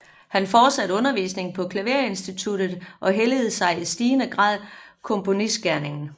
Han fortsatte undervisningen på klaverinstituttet og helligede sig i stigende grad komponistgerningen